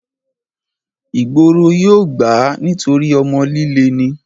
ìgboro yóò gbà á nítorí ọmọ líle ni